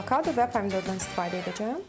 Mən avokado və pomidordan istifadə edəcəm.